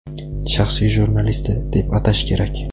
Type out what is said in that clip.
shaxsiy jurnalisti, deb atash kerak.